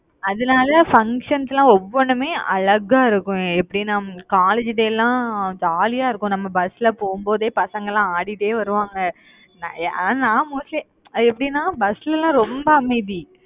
அதனால functions எல்லாம் ஒவ்வொண்ணுமே அழகா இருக்கும். எப்படின்னா college day எல்லாம் jolly யா இருக்கும். நம்ம bus ல போகும்போதே, பசங்கெல்லாம், ஆடிட்டே வருவாங்க அஹ் நான் mostly எப்படின்னா bus ல எல்லாம் ரொம்ப அமைதி.